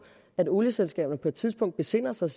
at olieselskaberne på et tidspunkt besinder sig